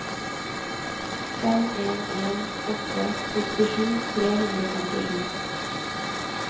fem en en åtte sekstisju tre hundre og femtisju